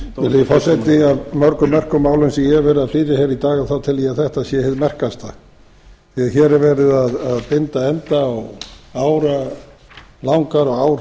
virðulegi forseti af mörgum merkum málum sem ég hef verið að flytja hér í dag tel ég að þetta sé hið merkasta því að hér er verið að binda enda á áralangar og